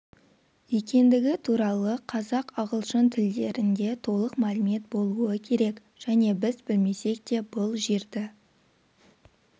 екендігі туралы қазақ ағылшын тілдерінде толық мәлімет болуы керек және біз білмесек те бұл жерді